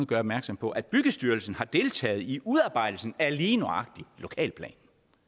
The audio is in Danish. gør opmærksom på at byggestyrelsen har deltaget i udarbejdelsen af lige nøjagtig lokalplanen